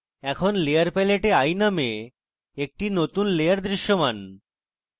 এখন layer প্যালেটে eye named একটি নতুন layer দৃশ্যমান